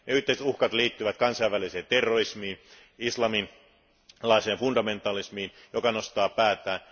Yhteiset uhat liittyvät kansainväliseen terrorismiin, islamilaiseen fundamentalismiin, joka nostaa päätään.